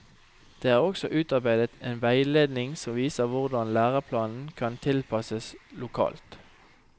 Det er også utarbeidet en veiledning som viser hvordan læreplanen kan tilpasses lokalt.